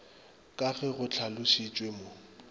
ka ge go hlalošitšwe mo